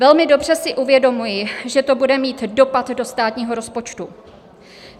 Velmi dobře si uvědomuji, že to bude mít dopad do státního rozpočtu.